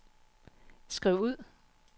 skriv ud